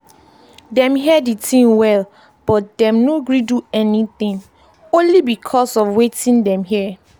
dem hear di tin well but dem no gree do anything only because of watin dem hear.